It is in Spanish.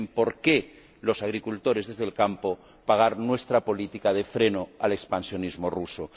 No tienen por qué los agricultores, desde el campo, pagar nuestra política de freno al expansionismo ruso.